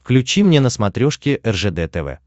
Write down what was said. включи мне на смотрешке ржд тв